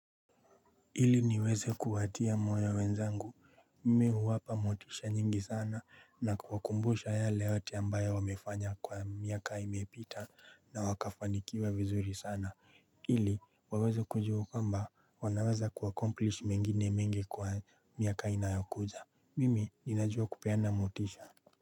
Hili niweze kuwatia moyo wenzangu mimi huwapa motisha nyingi sana na kuwakumbusha yale yote ambayo wamefanya kwa miaka imepita na wakafanikiwa vizuri sana Hili waweze kujua kwamba wanaweza kuacomplish mengine mengi kwa miaka inayokuja mimi ninajua kupeana motisha.